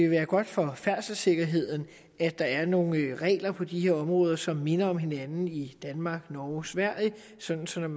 være godt for færdselssikkerheden at der var nogle regler på de her områder som mindede om hinanden i danmark norge og sverige sådan sådan